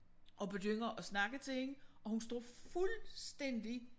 Og begynder at snakke til hende og hun står fuldstændig